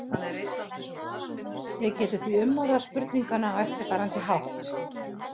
Við getum því umorðað spurninguna á eftirfarandi hátt: